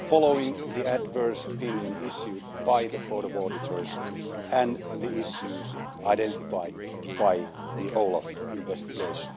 following the adverse opinion issued by the Court of Auditors and the issues identified by the OLAF investigation.